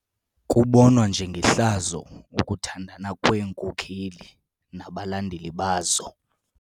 Kubonwa njengehlazo ukuthandana kweenkokeli nabalandeli bazo.